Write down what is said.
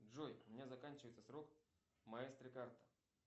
джой у меня заканчивается срок маэстро карта